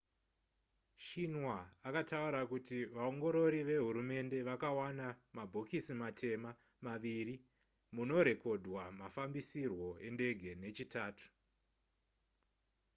xinhua akataura kuti vaongorori vehurumende vakawana mabhokisi matema maviri munorekodhwa mafambisirwo endege nechitatu